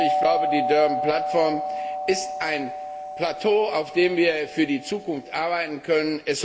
Ich glaube, die Durban Platform ist ein Plateau, auf dem wir für die Zukunft arbeiten können.